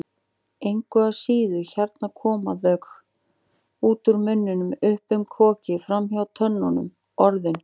Engu að síður, hérna koma þau, út úr munninum, upp um kokið, framhjá tönnunum, Orðin.